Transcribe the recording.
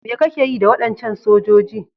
Me kake yi da wadancan sojoji?